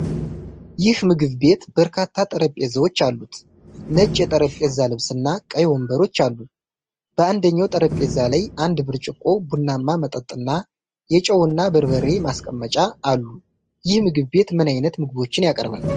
ይህ ምግብ ቤት በርካታ ጠረጴዛዎች አሉት፣ ነጭ የጠረጴዛ ልብስና ቀይ ወንበሮች አሉ። በአንደኛው ጠረጴዛ ላይ አንድ ብርጭቆ ቡናማ መጠጥና የጨውና በርበሬ ማስቀመጫ አሉ። ይህ ምግብ ቤት ምን ዓይነት ምግቦችን ያቀርባል?